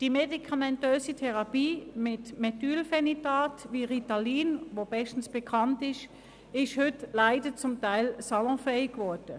Die medikamentöse Therapie mit Methylphenidaten wie Ritalin, welches bestens bekannt ist, ist heute leider zum Teil salonfähig geworden.